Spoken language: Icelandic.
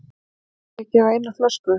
Er í lagi að gefa eina flösku?